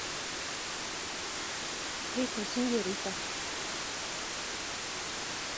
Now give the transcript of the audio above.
песня сеньорита